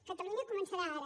catalunya començarà ara